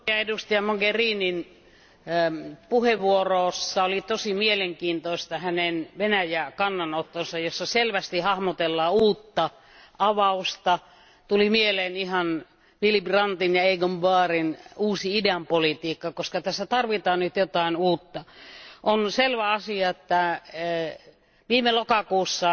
Arvoisa puhemies, korkean edustajan Mogherinin puheenvuorossa oli todella mielenkiintoista hänen Venäjä kannanottonsa, jossa selvästi hahmotellaan uutta avausta. Tuli mieleen ihan Willy Brandtin ja Egon Bahrin uusi idänpolitiikka, koska tässä tarvitaan nyt jotain uutta. On selvä asia, että viime lokakuussa